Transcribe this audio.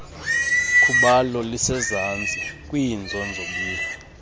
khubalo lisezantsi kwiinzonzobila